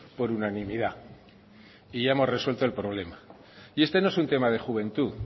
por unanimidad y ya hemos resuelto el problema y este no es un tema de juventud